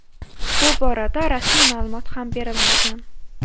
Bu borada rasmiy ma’lumot ham berilmagan.